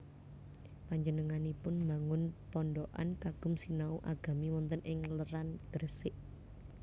Panjenenganipun mbangun pondokan kagem sinau agami wonten ing Leran Gresik